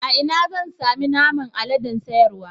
Ina zan sami naman aladen sayarwa.